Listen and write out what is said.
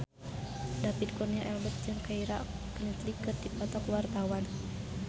David Kurnia Albert jeung Keira Knightley keur dipoto ku wartawan